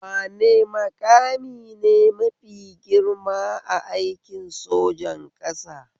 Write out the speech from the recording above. Wane maƙami ne mafi girma a aikin sojan ƙasa?